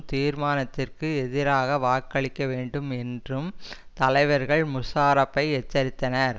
தீர்மானத்திற்கு எதிராக வாக்களிக்க வேண்டும் என்றும் தலைவர்கள் முஷ்ராபை எச்சரித்தனர்